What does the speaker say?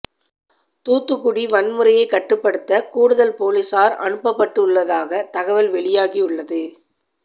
தூத்துக்குடி வன்முறையைக் கட்டுப்படுத்த கூடுதல் போலீசார் அனுப்பப்பட்டுள்ளதாக தகவல் வெளியாகி உள்ளது